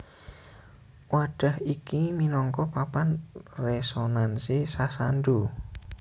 Wadhah iki minangka papan resonansi sasando